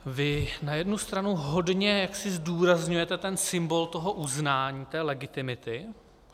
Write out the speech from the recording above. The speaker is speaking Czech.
Vy na jednu stranu hodně jaksi zdůrazňujete ten symbol toho uznání, té legitimity.